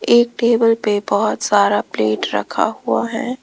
एक टेबल पे बहुत सारा प्लेट रखा हुआ है।